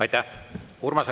Aitäh!